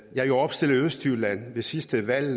jeg er jo opstillet i østjylland ved sidste valg